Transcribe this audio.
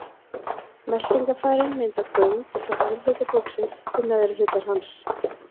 Meltingarfærin mynda göng frá efri hluta búksins til neðri hlutar hans.